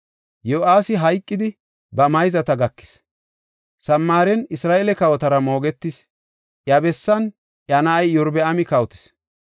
Yo7aasi hayqidi, ba mayzata gakis; Samaaren Isra7eele kawotara moogetis. Iya bessan iya na7ay Iyorbaami kawotis.